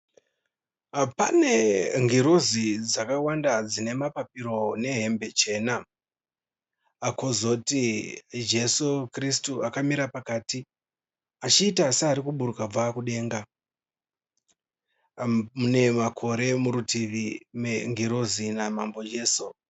Pane ngirozi dzakawanda dzinemapapiro nehembe chena. Pakuzoti ndi Jesu kirisitu akamira pakati achiita searikuburuka kubva kudenga. Mune makore murutivi mengirozi namambo Jesu.